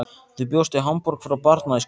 Þú bjóst í Hamborg frá barnæsku.